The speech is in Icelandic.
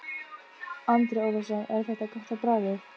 Andri Ólafsson: Er þetta gott á bragðið?